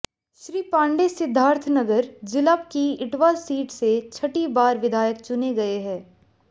श्री पांडे सिद्धार्थनगर जिला की इटवा सीट से छठी बार विधायक चुने गए हैं